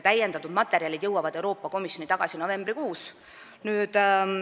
Täiendatud materjalid jõuavad Euroopa Komisjoni tagasi novembrikuus.